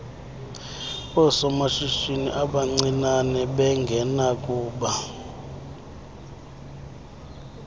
oosomashishini abancinane bengenakuba